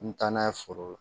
N mi taa n'a ye foro la